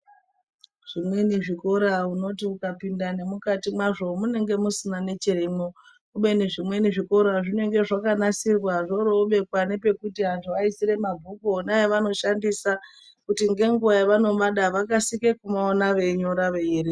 Zvimweni zvikora unoti ukapinda nemukati mwazvo munenge musina nechirimwo kubeni zvimweni zvikora zvinenge zvakanasirwa zvoro zvoobekwa nepekuti antu aisire mabhuku ona evanoshandisa kuti ngenguwa yevanomada vakasire kumaona veinyora veierenga.